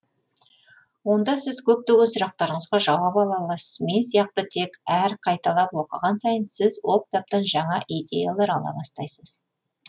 онда сіз көптеген сұрақтарыңызға жауап ала аласыз мен сияқты тек әр қайталап оқыған сайын сіз ол кітаптан жаңа идеялар ала бастайсыз